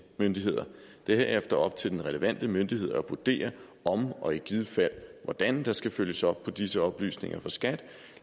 myndigheder det er herefter op til den relevante myndighed at vurdere om og i givet fald hvordan der skal følges op på disse oplysninger fra skat